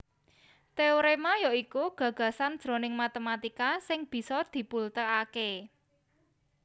Téoréma ya iku gagasan jroning matématika sing bisa dibultèkaké